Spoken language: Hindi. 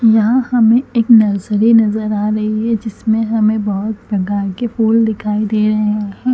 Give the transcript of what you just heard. यहाँ हमे एक नर्सरी नज़र आ रही है जिसमे हमे बहोत प्रकार के फूल दिखाई दे रहे है।